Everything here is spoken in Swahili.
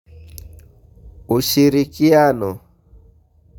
Ushirikiano.